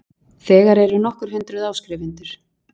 Þegar eru nokkur hundruð áskrifendur